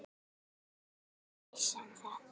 Hvenær vissi hann það?